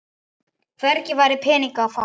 Hvergi væri peninga að fá.